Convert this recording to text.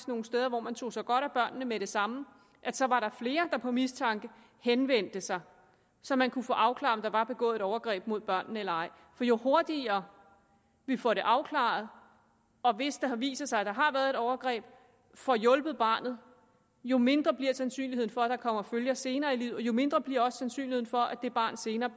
nogle steder hvor man tog sig godt af børnene med det samme så var der flere der på mistanken henvendte sig så man kunne få afklaret om der var begået overgreb mod børnene eller ej for jo hurtigere vi får det afklaret og hvis det viser sig at der har været et overgreb får hjulpet barnet jo mindre bliver sandsynligheden for at der kommer følger senere i livet og jo mindre bliver sandsynligheden også for at det barn senere